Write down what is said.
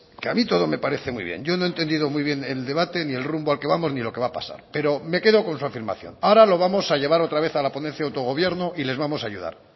que a mí todo me parece muy bien yo no he entendido muy bien el debate ni el rumbo al que vamos ni lo que va a pasar pero me quedo con su afirmación ahora lo vamos a llevar otra vez a la ponencia de autogobierno y les vamos a ayudar